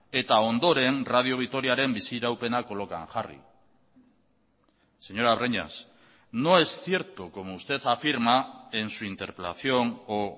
eta ondoren radio vitoriaren biz iraupena kolokan jarri señora breñas no es cierto como usted afirma en su interpelación o